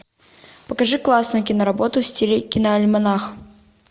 покажи классную киноработу в стиле киноальманах